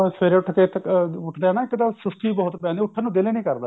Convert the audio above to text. ਸਵੇਰੇ ਉੱਠ ਕੇ ਉੱਠਦਾ ਨਾ ਇੱਕ ਦਮ ਸੁਸਤੀ ਬਹੁਤ ਪੈਂਦੀ ਹੈ ਉੱਠਨ ਦਾ ਦਿਲ ਹੀ ਨਹੀਂ ਕਰਦਾ